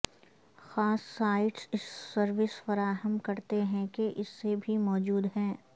خاص سائٹس اس سروس فراہم کرتے ہیں کہ اس سے بھی موجود ہیں